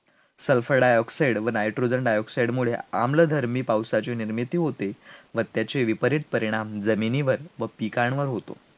sulfur dioxide व nitrogen dioxide मुळे आम्लधर्मी पावसाची निर्मिती होते, मग त्याचे विपरीत परिणाम जमिनीवर व पिकांवर होतो